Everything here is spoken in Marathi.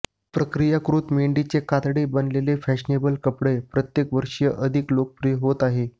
प्रक्रियाकृत मेंढीचे कातडे बनलेले फॅशनेबल कपडे प्रत्येक वर्षी अधिक लोकप्रिय होत आहेत